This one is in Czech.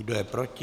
Kdo je proti?